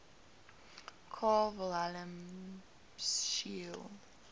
carl wilhelm scheele